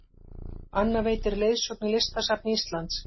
Anna veitir leiðsögn í Listasafni Íslands